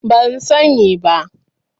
Ban sani ba.